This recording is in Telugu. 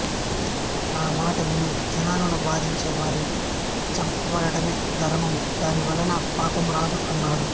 నా మాట విను జనులను బాధించే వారిని చంపడమే ధర్మము దాని వలన పాపము రాదు అన్నాడు